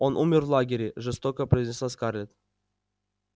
он умер в лагере жёстко произнесла скарлетт